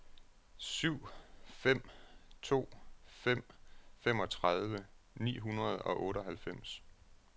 syv fem to fem femogtredive ni hundrede og otteoghalvfems